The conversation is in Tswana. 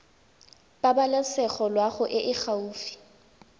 pabalesego loago e e gaufi